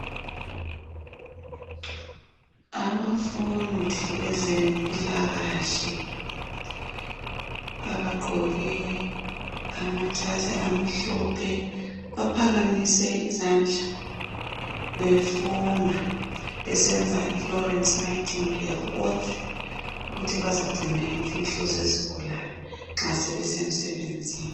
Abafundi bezempilakahle bagqoke amajazi amhlophe baphakamise izandla befunga besenza ilorenci nayithingidali oath ukuthi baza bazagcina imfihlo zezigulane